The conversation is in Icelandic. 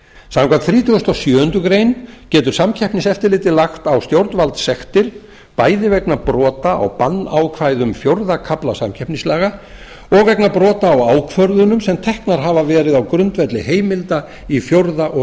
samkvæmt þrítugustu og sjöundu greinar getur samkeppniseftirlitið lagt á stjórnvaldssektir bæði vegna brota á bannákvæðum fjórða kafla samkeppnislaga og vegna brota á ákvörðunum sem teknar hafa verið á grundvelli heimilda í fjórða og